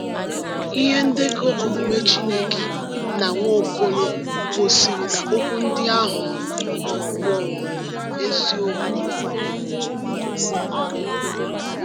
Ihe ndekọ omume Chineke na Nwaokolo gosiri na okwu ndị ahụ um bụ um eziokwu.